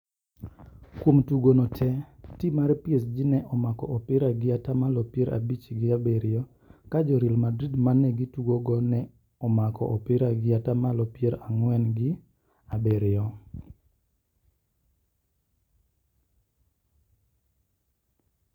Kuom tugono te, tim mar PSG ne omako opira gi atamalo pier abich gi abiriyo ka jo Real Madrid ma ne gitugogo ne omako opira gi atamalo pier ang`wen gi abiriyo.